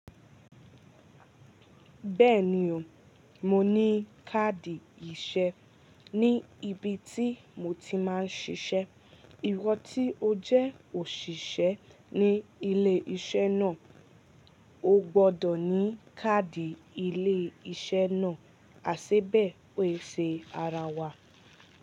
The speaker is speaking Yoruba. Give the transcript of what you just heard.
Bẹ́ẹ̀ni o, mo ní káàdì iṣẹ́ ní ibi tí mo ti máa ń ṣiṣẹ́. Ìwọ tí ó jẹ́ òṣìṣẹ́ ní ilé iṣẹ́ náà, o gbọ́dọ̀ ní káàdì ilé iṣẹ́ náà, àiṣẹ́bẹ̀ẹ́ ò i ṣe ara wa.